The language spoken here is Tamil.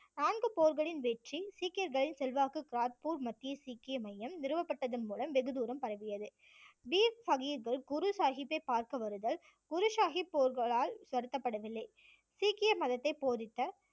நான்கு போர்களின் வெற்றி சீக்கியர்களின் செல்வாக்கு கிராத்பூர் மத்திய சீக்கிய மையம் நிறுவப்பட்டதன் மூலம் வெகுதூரம் பரவியது. வீர் சாஹிப் குரு சாஹிப்பை பார்க்க வருதல் குரு சாஹிப் போர்களால் வருத்தப்படவில்லை சீக்கிய மதத்தை போதித்த